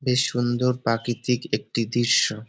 বেশ সুন্দর প্রাকৃতিক একটি দৃশ্য।